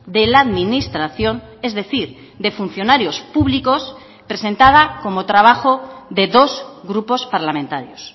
de la administración es decir de funcionarios públicos presentada como trabajo de dos grupos parlamentarios